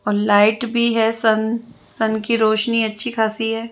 और लाईट भी है सन सन कि रौशनी अच्छी खासी है।